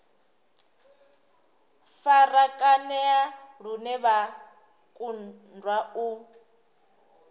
farakanea lune vha kundwa u